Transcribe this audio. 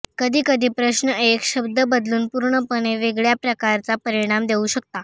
कधीकधी प्रश्न एक शब्द बदलून पूर्णपणे वेगळया प्रकारचा परिणाम देऊ शकता